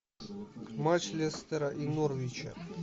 матч лестера и норвича